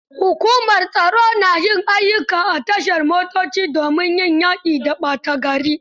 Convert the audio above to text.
Hukumar tsaro na yin ayyuka a tashar motoci domin yaƙi da ɓata gari.